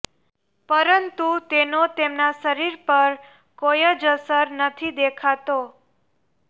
પરંતુ તેનો તેમના શરીર પર કોઈ જ અસર નથી દેખાતો